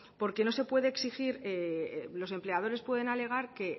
porque no se puede exigir o los empleadores pueden alegar que